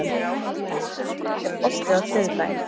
Ellý, er bolti á þriðjudaginn?